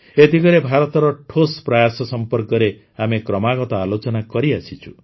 ଏ ଦିଗରେ ଭାରତର ଠୋସ୍ ପ୍ରୟାସ ସମ୍ପର୍କରେ ଆମେ କ୍ରମାଗତ ଆଲୋଚନା କରିଆସିଛୁ